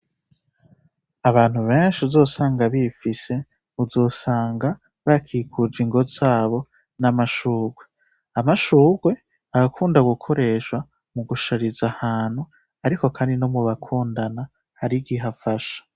Abantu benshi uzosanga bifise, uzosanga bakikuje ingo zabo n'amashurwe. Amashurwe arakunda gukoreshwa mu gushariza ahantu ariko kandi no mu bakundana hari igihe afasha.